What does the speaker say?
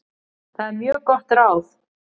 Það er mjög gott ráð.